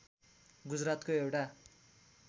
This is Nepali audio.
गुजरातको एउटा